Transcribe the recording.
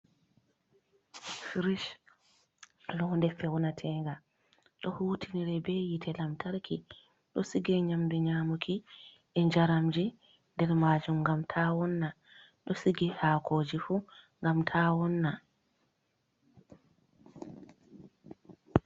Frish londe fewnatenga ɗo hutiniri be hite lantarki. Ɗo sigi nyamdu nyamuki e njaramji nder majum ngam ta wonna, ɗo sige hakoji fu ngam ta wonna.